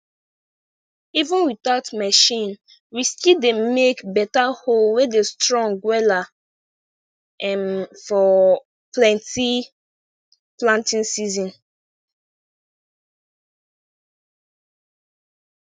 even without machine we still dey make beta hoe wey dey strong wela um for plenty planting season